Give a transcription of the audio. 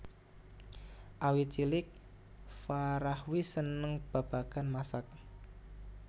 Awit cilik Farah wis seneng babagan masak